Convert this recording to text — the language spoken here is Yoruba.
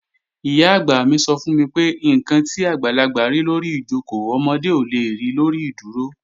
Ìyá-àgbà mi sọ fún mi pé, "ǹkan tí àgbàlagbà rí lórí ìjòkó, ọmọdé ò le ri lórí ìdúró"